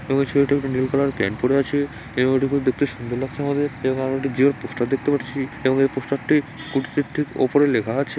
এবং ছেলেটি একটি নীল কালার প্যান্ট পড়ে আছে এবং এটি দেখতে খুব সুন্দর লাগছে আমাদের এবং একটা জিও পোস্টার দেখতে পাচ্ছি এবং পোস্টার টির ঠিক উপরে লেখা আছে।